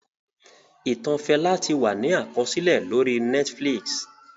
Ìtàn Fẹlá ti wà ní àkọsílẹ̀ lórí Netflix